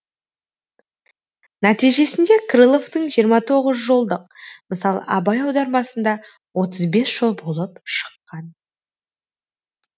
нәтижесінде крыловтың жиырма тоғыз жолдық мысалы абай аудармасында отыз бес жол болып шыққан